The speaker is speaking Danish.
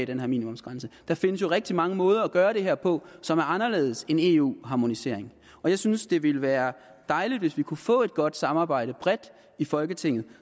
den her minimumsgrænse der findes jo rigtig mange måder at gøre det her på som er anderledes end eu harmonisering jeg synes det ville være dejligt hvis vi kunne få et godt samarbejde bredt i folketinget